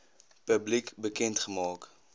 publiek bekend gemaak